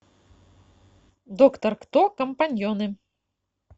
доктор кто компаньоны